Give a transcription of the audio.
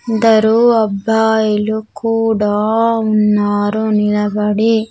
కొందరు అబ్బాయిలు కూడా ఉన్నారు నిలబడి.